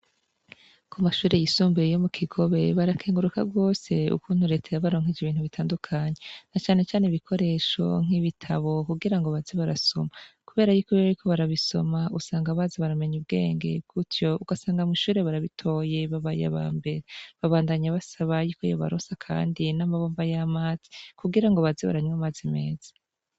Kumashure yisumbuye yomu kigobe barakenguruka gose ukuntu reta yabaronkeje ibintu bitandukanye na cane cane ibikoresho nkibitabo kugira ngobaze barasoma kubera yuko bariko barabisoma usanga baza baramenya ubwenge gutyo ugasanga mwishure barabitoye babaye abambere babandanya basaba yuko yobaronsa kandi namabomba yamazi kugira ngo baze baranywa amazi meza